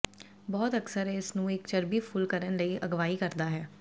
ਬਹੁਤ ਅਕਸਰ ਇਸ ਨੂੰ ਇੱਕ ਚਰਬੀ ਫੁੱਲ ਕਰਨ ਲਈ ਅਗਵਾਈ ਕਰਦਾ ਹੈ